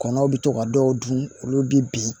Kɔnɔw bɛ to ka dɔw dun olu bɛ bin